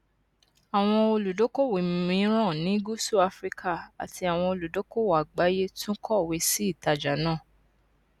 àwọn olùdókòwò mìíràn ní gusu afrika àti àwọn olùdókòwò àgbáyé tún kọwé sí ìtajà náà